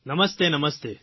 નમસ્તે નમસ્તે